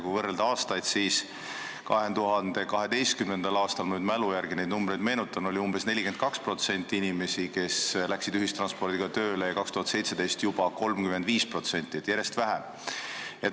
Kui võrrelda aastaid, siis 2012. oli – mälu järgi ütlen – umbes 42% inimesi, kes läksid tööle ühissõidukiga, ja 2017. juba 35%, seega järjest vähem.